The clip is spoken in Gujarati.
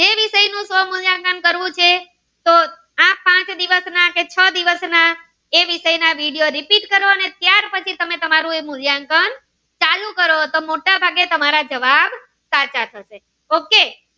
તો આ પાંચ દિવસ ના કે છ દિવસ ના એ વિસય ના vediorepeat કરો અને ત્યાર પછી તમારું મૂલ્યાંકન ચાલુ કરો તો મોટા ભાગે તમારા જવાબ સાચા થશે ok